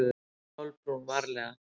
spurði Kolbrún varlega.